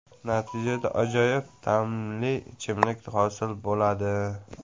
Natijada ajoyib ta’mli ichimlik hosil bo‘ladi.